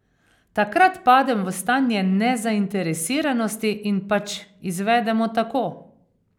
Takrat padem v stanje nezainteresiranosti in pač izvedemo tako.